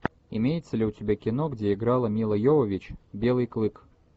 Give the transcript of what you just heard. имеется ли у тебя кино где играла мила йовович белый клык